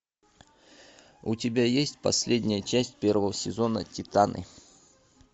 у тебя есть последняя часть первого сезона титаны